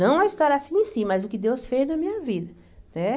Não a história assim em si, mas o que Deus fez na minha vida, né?